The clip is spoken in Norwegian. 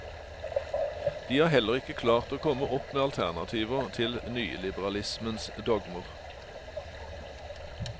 De har heller ikke klart å komme opp med alternativer til nyliberalismens dogmer.